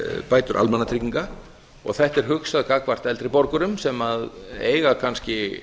bætur almannatrygginga og þetta er hugsað gagnvart eldri borgurum sem eiga kannski